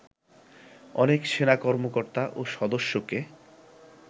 অনেক সেনা কর্মকর্তা ও সদস্যকে